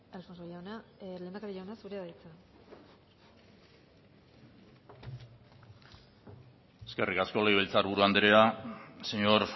lehendakari jauna zurea da hitza eskerrik asko legebiltzar buru andrea señor